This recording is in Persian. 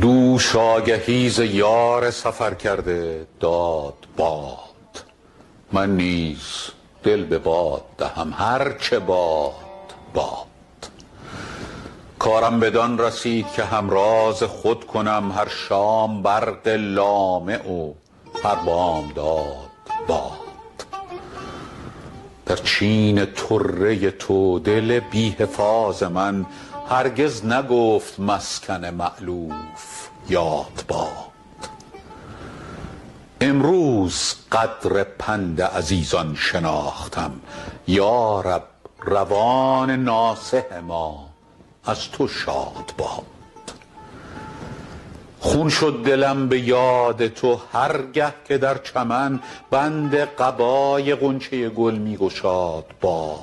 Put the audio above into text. دوش آگهی ز یار سفر کرده داد باد من نیز دل به باد دهم هر چه باد باد کارم بدان رسید که همراز خود کنم هر شام برق لامع و هر بامداد باد در چین طره تو دل بی حفاظ من هرگز نگفت مسکن مألوف یاد باد امروز قدر پند عزیزان شناختم یا رب روان ناصح ما از تو شاد باد خون شد دلم به یاد تو هر گه که در چمن بند قبای غنچه گل می گشاد باد